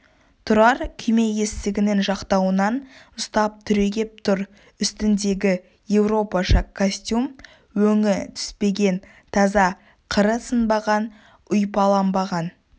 тұрар күйме есігінің жақтауынан ұстап түрегеп тұр үстіндегі еуропаша костюм өңі түспеген таза қыры сынбаған ұйпаланбаған